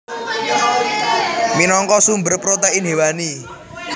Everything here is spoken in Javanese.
Minangka sumber protein hewani